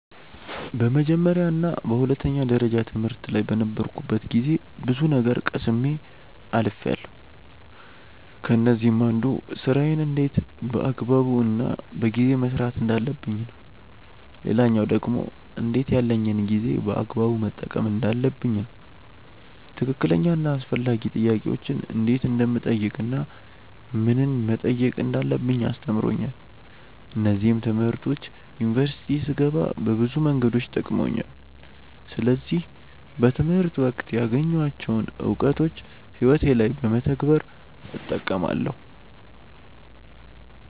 በመጀመርያ እና በሁለተኛ ደረጃ ትምህርት ላይ በነበርኩበት ጊዜ ብዙ ነገር ቀስሜ አልፍያለው። ከነዚህም አንዱ ስራዬን እንዴት በአግባቡ እና በጊዜ መስራት እንዳለብኝ ነው። ሌላኛው ደግሞ እንዴት ያለኝን ጊዜ በአግባቡ መጠቀም እንዳለብኝ ነው። ትክክለኛ እና አስፈላጊ ጥያቄዎችን እንዴት እንደምጠይቅ እናም ምንን መጠየቅ እንዳለብኝ አስተምሮኛል። እነዚህም ትምህርቶች ዩኒቨርሲቲ ስገባ በብዙ መንገዶች ጠቅመውኛል። ስለዚህ በትምህርት ወቅት ያገኘኋቸውን እውቀቶች ህይወቴ ላይ በመተግበር እጠቀማለው።